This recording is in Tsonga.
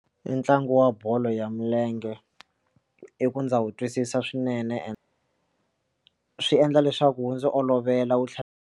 Ntlangu wa bolo ya milenge i ku ndza wu twisisa swinene ene swi endla leswaku wu ndzi olovela wu tlhela.